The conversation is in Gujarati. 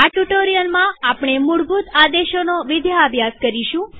આ ટ્યુ્ટોરીઅલમાં આપણે મૂળભૂત આદેશોનો વિદ્યાભ્યાસ કરીશું